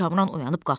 Kamran oyanıb qalxdı.